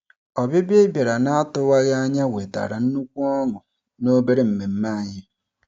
Ọbịbịa ị bịara n'atụwaghị anya wetara nnukwu ọṅụ n'obere mmemme anyị.